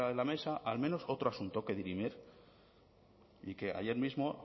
la mesa al menos otro asunto que dirimir y que ayer mismo